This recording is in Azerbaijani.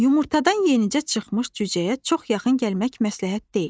Yumurtadan yenicə çıxmış cücəyə çox yaxın gəlmək məsləhət deyil.